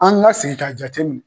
An ka segin ka jateminɛ.